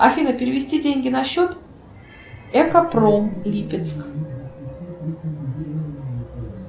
афина перевести деньги на счет экопром липецк